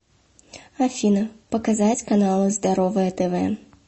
афина показать каналы здоровое тв